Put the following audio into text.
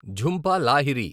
Jhumpa Lahiri